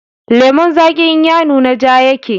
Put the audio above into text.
Lemon zagi in ya nuna ja yake